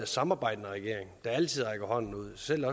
samarbejdende regering der altid rækker hånden ud selv